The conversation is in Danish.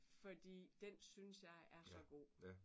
Fordi den synes jeg er så god